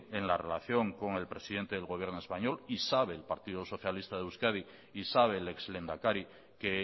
en la relación con el presidente del gobierno español y sabe el partido socialista de euskadi y sabe el ex lehendakari que